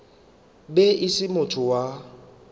be e se motho wa